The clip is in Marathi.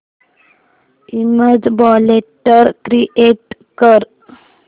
इमेज फोल्डर क्रिएट कर